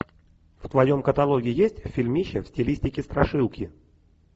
в твоем каталоге есть фильмище в стилистике страшилки